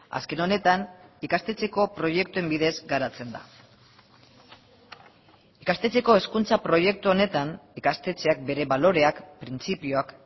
azken honetan ikastetxeko proiektuen bidez garatzen da ikastetxeko hezkuntza proiektu honetan ikastetxeak bere baloreak printzipioak